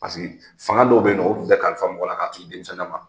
Paseke fanga dɔw bɛ yen nɔ, o tun tɛ kalifa mɔgɔ la k'a to i denmisɛnnin la ma.